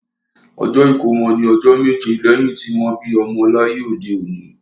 Ọjọ́ ìkómọ ní ọjọ́ méje lẹ́yin tí wọ́n bí ọmọ láyé òde òní